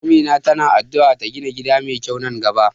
Amina ta na addu'ar ta gina gida mai kyau nan gaba.